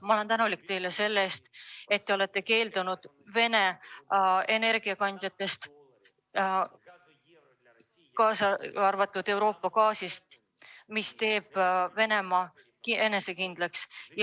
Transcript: Ma olen tänulik teile selle eest, et te olete keeldunud Vene energiakandjatest, kaasa arvatud Euroopa gaasist, mis teeb Venemaa enesekindlaks.